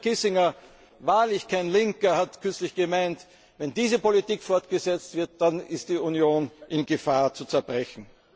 Und selbst Henry Kissinger wahrlich kein Linker hat kürzlich gemeint, wenn diese Politik fortgesetzt wird, dann ist die Union in Gefahr zu zerbrechen.